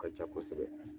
Ka ca kosɛbɛ